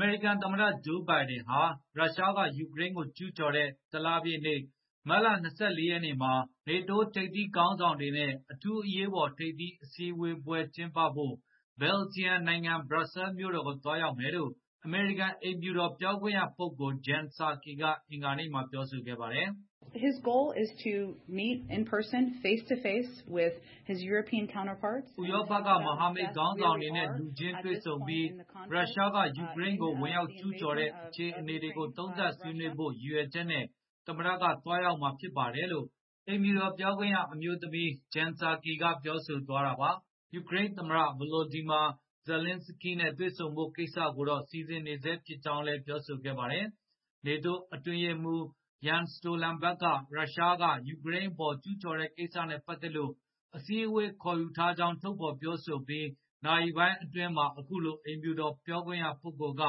မေရိကန်သမ္မတ Joe Biden ဟာ ရုရှားက ယူကရိန်း ကိုကျူးကျော်တဲ့ တလပြည့်နေ့ မတ်လ ၂၄ ရက်နေ့မှာ NATO ထိပ်သီးခေါင်းဆောင်တွေနဲ့ အထူးအရေးပေါ် ထိပ်သီးဆွေးနွေးဖို့ ဘယ်ဂျီယံနိုင်ငံ၊ ဘရပ်ဆဲမြို့တော်ကို သွားရောက်မယ်လို့ အမေရိကန် အိမ်ဖြူတော် ပြောခွင့်ရပုဂ္ဂိုလ် Jen Psaki ကအင်္ဂါနေ့မှာ ပြောဆိုခဲ့ပါတယ်။ ဥရောပက မဟာမိတ် ခေါင်းဆောင်တွေနဲ့ လူခြင်းတွေ့ပြီး ရုရှား က ယူကရိန်းကို ဝင်ရောက်ကျူးကျော်တဲ့ အခြေအနေတွေကို သုံးသပ် ဆွေးနွေးဖို့ ရည်ရွယ်ချက်နဲ့ သမ္မတကသွားရောက်မှာ ဖြစ်ပါတယ်လို့ အိမ်ဖြူတော်ပြောခွင့်ရ ပုဂ္ဂိုလ် Jen Psaki က ပြောဆိုခဲ့တာပါ။ ယူကရိန်းသမ္မတ Volodymyr Zelensky နဲ့ တွေဆုံဖို့ ကိစ္စကိုတော့ စီစဉ်နေဆဲဖြစ်ကြောင်းလည်း ပြောဆိုခဲ့ပါတယ်။ NATO အတွင်းရေးမှူး Jen Stoltenberg က ရုရှားက ယူကရိန်း အပေါ် ကျူးကျော်တဲ့ ကိစ္စနဲ့ ပတ်သက်လို့ အစည်းအဝေး ခေါ်ယူထားကြောင်း ထုတ်ဖေါ်ပြောဆိုပြီး နာရီပိုင်းအတွင်းမှာ အခုလို အိမ်ဖြူတော်ပြောခွင့်ရပုဂ္ဂိုလ်က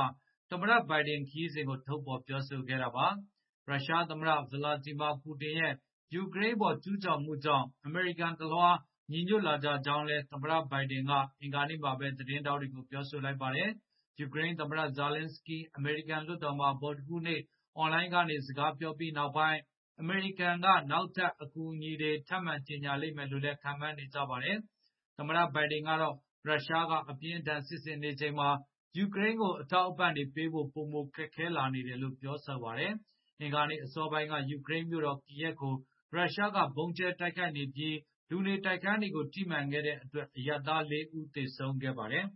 သမ္မတ Biden ခရီး စဉ်ကို ထုတ်ဖေါ်ပြောဆိုခဲ့တာပါ။ ရုရှားသမ္မတ Vladimir Putin ရဲ့ ယူကရိန်းအပေါ် ကျုးကျော်မှုကြောင့် အမေရိကန်တလွှား ညီညွတ်လာကြကြောင်းလည်း သမ္မတ Biden က အင်္ဂါနေ့မှာပဲ သတင်းထောက်တွေကို ပြောလိုက်ပါတယ်။ ယူကရိန်းသမ္မတ Zelensky အမေရိကန် လွှတ်တော်မှာ ဗုဒ္ဓဟူးနေ့ အွန်လိုင်းကနေ စကားပြောပြီး နောက်ပိုင်း အမေရိကန်က နောက်ထပ် အကူအညီတွေ ထပ်ကြေညာ လိမ့်မယ်လို့လည်း ခန့်မှန်းနေကြပါတယ်။ သမ္မတ Biden ကတော့ ရုရှားက အပြင်းအထန် စစ်ဆင်နေချိန်မှာ ယူကရိန်းကို အထောက်အပံ့တွေ ပေးပို့ဖို့ ပိုမိုခက်ခဲလာနေတယ်လို့ ပြောပါတယ်။ အင်္ဂါနေ့ အစောပိုင်းက ယူကရိန်းမြို့တော် Kiyv ကို ရုရှားက ဗုံကြဲတိုက်ခိုက်နေပြီး လူနေတိုက်ခန်းတွေကု ိထိမှန်ခဲ့တဲ့အတွက် အရပ်သား ၄ ဦးသေ ဆုံးခဲ့ပါတယ်